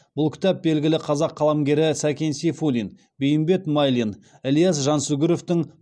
бұл кітап белгілі қазақ қаламгерлері сәкен сейфуллин бейімбет майлин ілияс жансүгіровтың